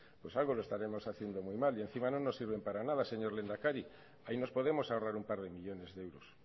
pues algo lo estaremos haciendo muy mal y encima no nos sirven para nada señor lehendakari ahí nos podemos ahorrar un par de millónes de euros